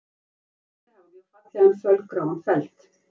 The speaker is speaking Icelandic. kóalabirnir hafa mjög fallegan fölgráan feld